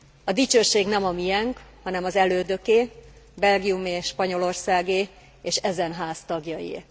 A dicsőség nem a mienk, hanem az elődöké, Belgiumé és Spanyolországé és ezen Ház tagjaié.